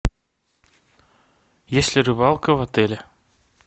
есть ли рыбалка в отеле